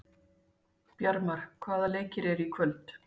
Bjarmar, hvaða leikir eru í kvöld?